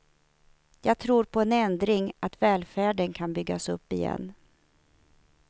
Jag tror på en ändring, att välfärden kan byggas upp igen.